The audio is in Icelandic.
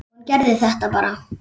Hún gerði þetta bara.